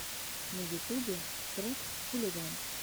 на ютубе трек хулиган